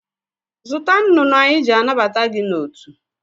Zụta nnụnụ anyị jị anabata gị n'otu!